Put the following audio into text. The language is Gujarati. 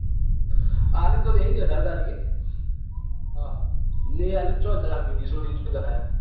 આલિ તો દેશે જ અઢાર તારીખે હ હ નઈ આપે તો ક્યાં જશે બીજ્જે છોડી ને ક્યા જશે?